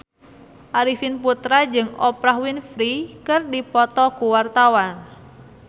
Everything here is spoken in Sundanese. Arifin Putra jeung Oprah Winfrey keur dipoto ku wartawan